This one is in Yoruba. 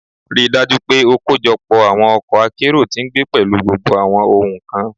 Rii daju pe o kojọpọ awọn ọkọ akero ti ngbe pẹlu gbogbo awọn ohun kan